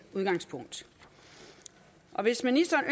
udgangspunkt hvis ministeren